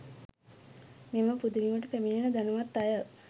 මෙම පුදබිමට පැමිණෙන ධනවත් අය